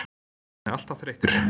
Hann er alltaf þreyttur.